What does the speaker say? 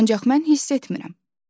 Ancaq mən hiss etmirəm.